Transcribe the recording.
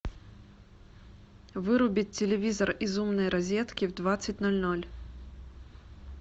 вырубить телевизор из умной розетки в двадцать ноль ноль